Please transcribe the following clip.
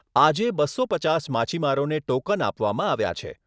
આજે બસો પચાસ માછીમારોને ટોકન આપવામાં આવ્યા છે.